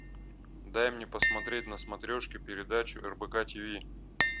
дай мне посмотреть на смотрешке передачу рбк тв